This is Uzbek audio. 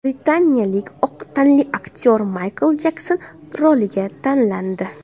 Britaniyalik oq tanli aktyor Maykl Jekson roliga tanlandi.